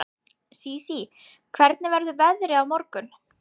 Sísí, hvernig verður veðrið á morgun?